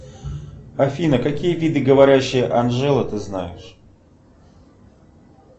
афина какие виды говорящей анжелы ты знаешь